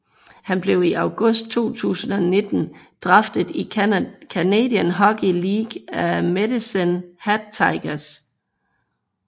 Han blev i august 2019 draftet i Canadian Hockey League af Medicine Hat Tigers